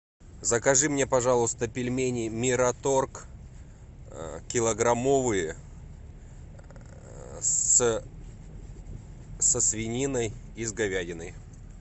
закажи мне пожалуйста пельмени мираторг килограммовые со свининой и с говядиной